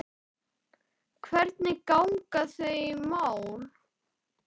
Hvernig ganga þau mál?